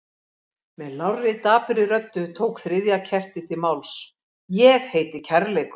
Með lágri, dapurri röddu tók þriðja kertið til máls: Ég heiti kærleikur.